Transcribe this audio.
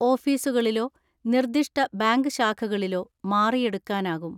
ഓഫീസുക ളിലോ നിർദ്ദിഷ്ട ബാങ്ക് ശാഖകളിലോ മാറിയെടുക്കാനാകും.